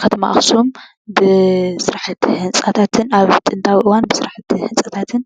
ከተማ ኣኽሱም ብስራሕቲ ህንፃታትን ኣብ ጥንታዊ እዋን ብስራሕቲ ህንፃታትን